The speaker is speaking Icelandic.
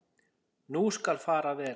Nú skal fara vel.